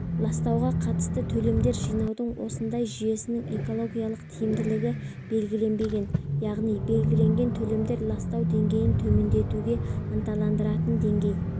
ластауға қатысты төлемдер жинаудың осындай жүйесінің экологиялық тиімділігі белгіленбеген яғни белгіленген төлемдер ластау деңгейін төмендетуге ынталандыратын деңгей